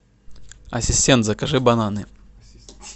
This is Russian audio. ассистент закажи бананы